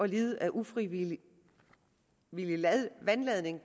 lide af ufrivillig vandladning